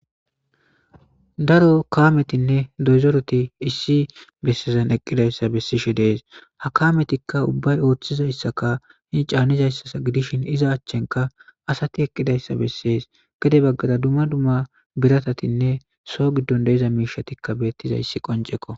Daro kaametinne dozoroti issi bessezan eqqidayssa bessishe dees ha kaametikka ubbay ooththizayssaka hii caannizayssa gidishin iza achchenka asati eqqidayssa bessees gede baggada dumma dumma biratatinne so giddon deiza miishatikka beettizayssi qonceko.